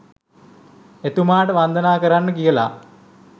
එතුමාට වන්දනා කරන්න කියලා